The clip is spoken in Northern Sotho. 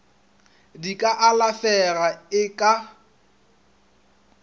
di ka alafega e ka